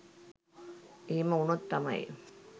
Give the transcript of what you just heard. එහෙම උනොත් තමයි